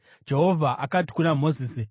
Jehovha akati kuna Mozisi,